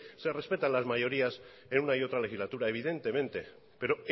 se respetan las mayorías en una y otra legislatura evidentemente pero